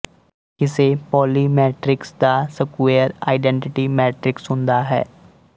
ਕਿਸੇ Pauli matrix ਦਾ square identity matrix ਹੁੰਦਾ ਹੈ